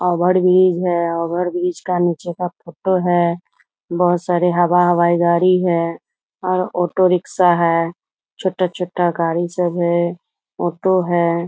Over bridge है over bridge का नीचे का फोटो है बहुत सारे हवा-हवाई गाड़ी है और ऑटो रिक्शा है छोटा-छोटा गाड़ी सब है ओटो है ।